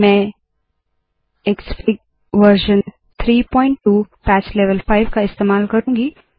मैं Xfig version 32 patch level 5 का इस्तेमाल करुँगी